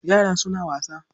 Yara suna wasa.